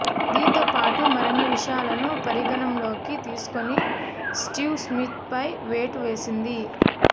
దీంతో పాటు మరిన్ని విషయాలను పరిగణనలోకి తీసుకుని స్టీవ్ స్మిత్పై వేటు వేసింది